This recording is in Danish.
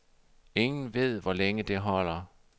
Ingen ved, hvor længe det holder.